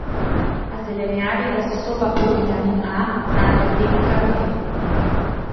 V zelenjavi ga zastopa provitamin A, znan kot betakaroten.